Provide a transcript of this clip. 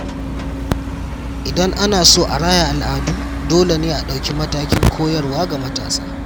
Idan ana so a raya al’adu, dole ne a ɗauki matakin koyarwa ga matasa.